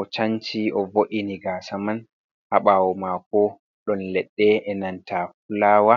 o canci o vo’ini gasaman haɓawo mako ɗon leɗɗe e nanta fulawa.